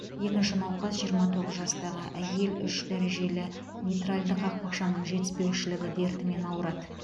екінші науқас жиырма тоғыз жастағы әйел үш дәрежелі митральді қақпақшаның жетіспеушілігі дертімен ауырады